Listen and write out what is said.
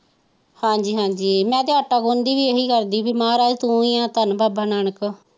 ਹਾਜੀ ਹਾਜੀ ਮੈਂ ਤੇ ਆਟਾ ਗੁਣਦੀ ਵੀ ਇਹ ਹੀ ਕਰਦੀ ਸੀ ਮਹਾਰਾਜ ਤੋਂ ਹੀ ਹੈ ਧੰਨ ਬਾਬਾ ਨਾਨਕ।